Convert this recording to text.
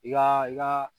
I ka i ka